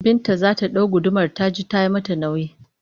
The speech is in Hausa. Binta za ta ɗau gudumar ta ji ta yi mata nauyi